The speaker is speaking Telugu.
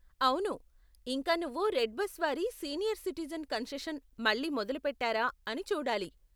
అవును, ఇంకా నువ్వు రెడ్బస్ వారి సీనియర్ సిటిజెన్ కన్సెషన్ మళ్ళీ మొదలుపెట్టారా అని చూడాలి.